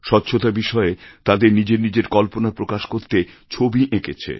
স্বচ্ছতা বিষয়ে তাদের নিজের নিজের কল্পনা প্রকাশ করতে ছবি এঁকেছে